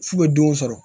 F'u bɛ don sɔrɔ